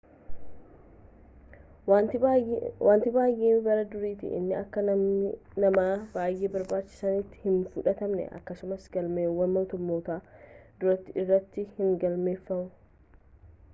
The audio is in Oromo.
wanti baay'ee bara duriitti inni akka nama i baayee barbaachisaatti hin fudhatamne akkasumas galmeewwan moototaa durii irratti hin galmoofne